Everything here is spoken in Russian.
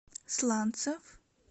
сланцев